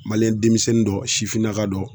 denmisɛnnin dɔ sifinnaka dɔ